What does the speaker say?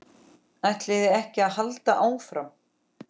ÆTLIÐI EKKI AÐ HALDA ÁFRAM?